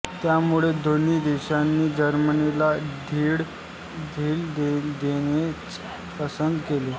त्यामुळे दोन्ही देशांनी जर्मनीला ढील देणेच पसंत केले